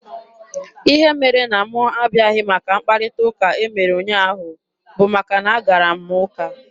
Ihe mere na mụ abịaghị maka mkparịta ụka e mere ụnyaahụ bụ maka na a gara m ụka.